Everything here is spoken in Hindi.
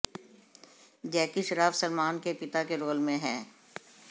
जैकी श्रॉफ सलमान के पिता के रोल में हैं